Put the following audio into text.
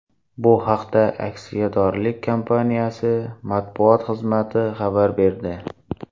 Bu haqda aksiyadorlik kompaniyasi matbuot xizmati xabar berdi .